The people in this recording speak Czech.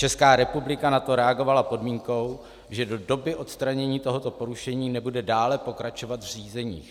Česká republika na to reagovala podmínkou, že do doby odstranění tohoto porušení nebude dále pokračovat v řízeních.